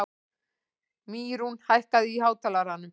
Mýrún, hækkaðu í hátalaranum.